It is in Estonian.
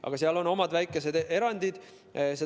Aga seal on omad väikesed erandid.